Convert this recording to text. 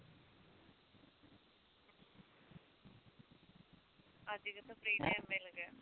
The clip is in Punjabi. ਅੱਜ ਕਿਥੋਂ free time ਮਿਲ ਗਿਆ